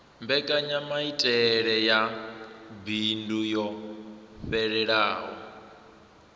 mbekanyamaitele ya bindu yo fhelelaho